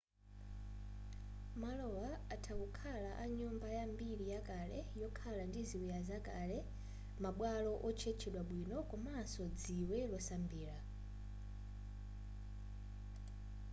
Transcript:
malowa atha kukhala a nyumba ya mbiri yakale yokhala ndi ziwiya zakale ma bwalo otchetchedwa bwino komanso dziwe losambira